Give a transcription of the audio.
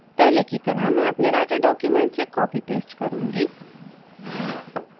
पहले की तरह मैं अपने writer document से copypaste करुँगी